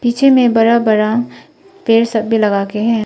पीछे में बड़ा बड़ा पेड़ सब भी लगा के हैं।